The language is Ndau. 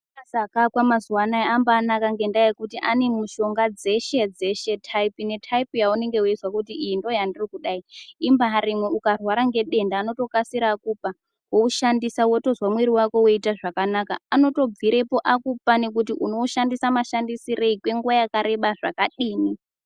Ma famasi akaakwa muzuwanaya ambanaka ngendaa yekuti ane mushonga dzeshe dzeshe tayipi ne tayipi yaunenge weizwa kuti iyi ndoyandiri kuda iyi imbaarimwo ukarwara ngedenda anotokasira akupa woushandisa wotozwa mwiri wako weiita zvakanaka anotobvirepo akupa nekuti unoushandisa mashandisirei kwenguva yakareba zvakadini.